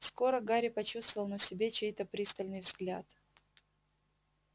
скоро гарри почувствовал на себе чей-то пристальный взгляд